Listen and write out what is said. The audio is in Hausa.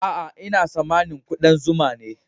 Aa, n'na samani kudan zuma ne.